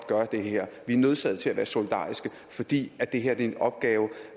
gøre det her vi er nødsaget til at være solidariske fordi det her er en opgave